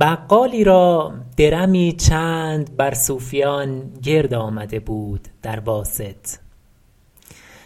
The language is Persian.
بقالی را درمی چند بر صوفیان گرد آمده بود در واسط